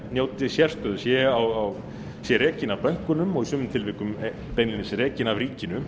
njóti sérstöðu sé rekinn af bönkunum og sé í sumum tilvikum beinlínis rekinn af ríkinu